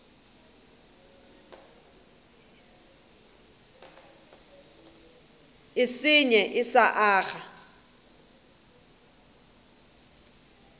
e senye e sa aga